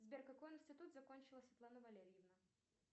сбер какой институт закончила светлана валерьевна